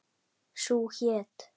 Sú hét